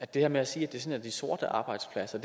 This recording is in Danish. det her med at sige sige at det er sorte arbejdspladser